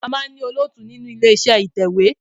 A máa ń ní olóòtú nínú ilé iṣẹ́ ìtẹ̀wẹ́.